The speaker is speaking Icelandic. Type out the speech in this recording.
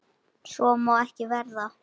Svo má ekki verða.